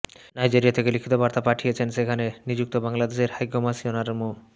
Nigeria থেকে লিখিত বার্তা পাঠিয়েছেন সেখানে নিযুক্ত বাংলাদেশের হাইকমিশনার মো